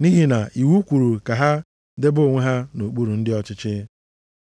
nʼihi na iwu kwuru ka ha debe onwe ha nʼokpuru ndị ọchịchị.